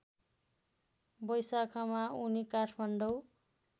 वैशाखमा उनी काठमाडौँ